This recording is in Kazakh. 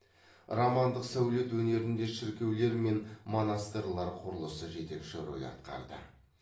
романдық сәулет өнерінде шіркеулер мен монастырлар құрылысы жетекші рөл атқарды